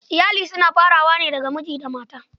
Iyali suna farawa ne daga miji da mata.